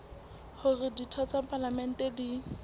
hore ditho tsa palamente di